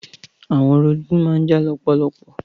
Àwọn orogún má n jà lọ́pọ̀lọpọ̀.